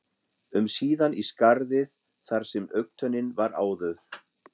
um síðan í skarðið þar sem augntönnin var áður.